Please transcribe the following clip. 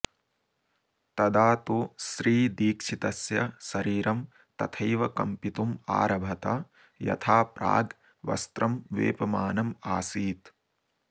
तदा तु श्रीदीक्षितस्य शरीरं तथैव कम्पितुमारभत यथा प्राग् वस्त्रं वेपमानमासीत्